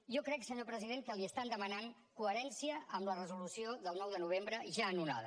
jo crec senyor president que li estan demanant coherència amb la resolució del nou de novembre ja anul·lada